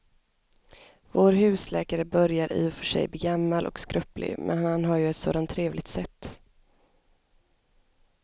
Vår husläkare börjar i och för sig bli gammal och skröplig, men han har ju ett sådant trevligt sätt!